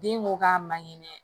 Den ko k'a man kɛnɛ